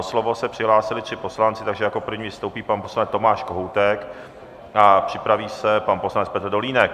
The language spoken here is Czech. O slovo se přihlásili tři poslanci, takže jako první vystoupí pan poslanec Tomáš Kohoutek a připraví se pan poslanec Petr Dolínek.